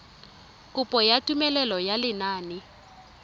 kopo ya tumelelo ya lenane